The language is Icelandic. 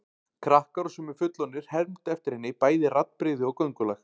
Krakkar og sumir fullorðnir hermdu eftir henni, bæði raddbrigði og göngulag.